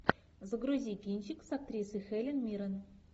загрузи кинчик с актрисой хелен миррен